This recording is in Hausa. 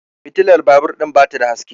fitilar babur ɗin ba ta da haske